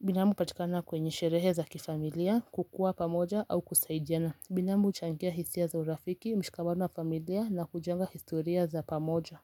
Binamu hupatikana kwenye sherehe za kifamilia kukuwa pamoja au kusaidiana. Binamu huchangia hisia za urafiki mshikamano wa familia na kujenga historia za pamoja.